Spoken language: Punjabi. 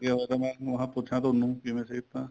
ਲੱਗਿਆ ਪਤਾ ਮੈਂ ਕਿਹਾ ਪੁੱਛਾ ਤੁਹਾਨੂੰ ਕਿਵੇਂ ਸਿਹਤਾ